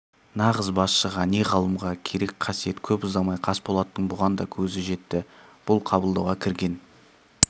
нағыз басшыға не ғалымға керек қасиет көп ұзамай қасболаттың бұған да көзі жетті бұл қабылдауға кірген